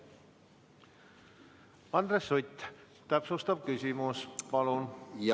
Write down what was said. Andres Sutt, täpsustav küsimus, palun!